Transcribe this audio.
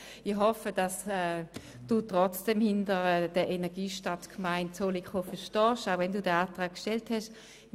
Ich hoffe aber, dass Sie trotzdem hinter der Energiestadtgemeinde Zollikofen stehen, obwohl Sie diesen Antrag gestellt haben.